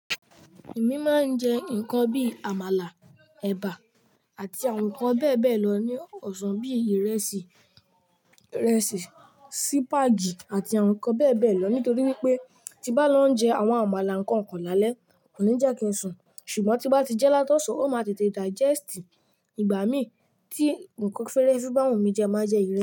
Èmi máa ń jẹ nǹkan bí Àmàlà, ẹ̀bà àti àwọn nǹkan bẹ́ẹ̀ bẹ́ẹ̀ lọ ní ọ̀sán bí ìrẹsì, sìpàgì àti àwọn nǹkan bẹ́ẹ̀ bẹ́ẹ̀ lọ nítorí wípé tí bá lọ jẹ àwọn àmàlà nǹkan kan lálẹ́ kò ní jẹ́ kí n sùn. Ṣùgbọ́n tí bá ti jẹ́ látọ̀sán ó máa tètè digest. Ìgbà mí tí nǹkan fẹ́rẹ́fẹ́ bá wù mí jẹ máa jẹ ìrẹsì.